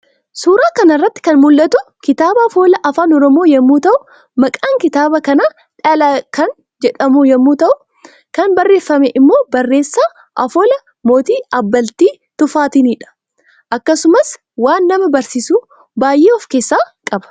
Suuraa kanarratti kan mul'atu kitaaba afoola afaan oromoo yommu ta'uu maqaan kitaaba kana Dhala kan jedhamu yommuu ta'u kan barreeffame immoo bareessa afoolaa Mootii Abbaltii Tufaatinidha. Akkasumas waan nama barsiisu baay'ee of keessa qaba.